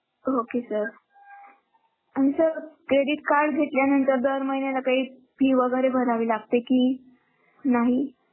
Okay sir आणि sir credit card घेतल्यानंतर दर महिन्याला काही fee वेगेरे भरावी लागते की नाही?